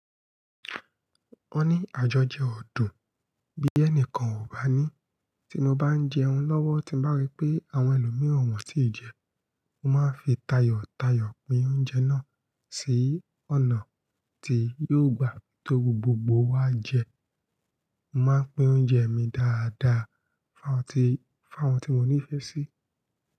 Ó ní àjọjẹ ọ̀dùn bí ẹnìkan ò bá ní. Tí mo bá ń jẹun lọ́wọ́, tí mo bá rí pé àwọn ẹlòmíràn wọ́n ti jẹun, mo máa ń fi tayọ̀tayọ̀ pín oúnjẹ náà sí ọ̀nà tí yóò gba to gbogbo wa jẹun. Mo máa ń pín oúnjẹ mi dáadáa fún àwọn tí won ní ìfẹ́ sí.